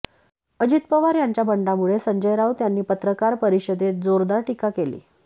अजित पवार यांच्या बंडामुळे संजय राऊत यांनी पत्रकार परिषदेत जोरदार टीका केली